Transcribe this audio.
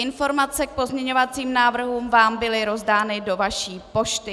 Informace k pozměňovacím návrhům vám byly rozdány do vaší pošty.